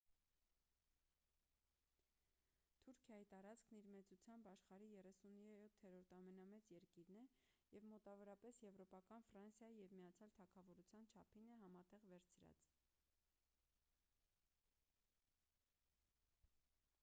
թուրքիայի տարածքն իր մեծությամբ աշխարհի 37-րդ ամենամեծ երկիրն է և մոտավորապես եվրոպական ֆրանսիայի և միացյալ թագավորության չափին է համատեղ վերցրած